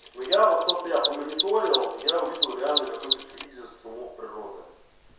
ну я вот то что я по мониторил я увидел реально какой-то кризис шумок природа